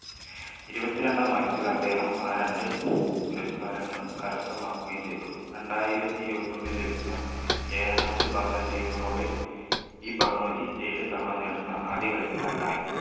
ഇരുപത്തി രണ്ടാം വയസ്സിൽ അദ്ദേഹം ആ രണ്ട് പുരസ്കാരങ്ങളും കരസ്ഥമാക്കുകയും ചെയ്തു രണ്ടായിരത്തി ഇരുപത്തി ഒന്നിൽ ലഭിച്ച ഏഴാമത് balloon d'Or ഓടെ ഈ ബഹുമതി ഏഴു തവണ നേടുന്ന ആദ്യ കളിക്കാരൻ ആയി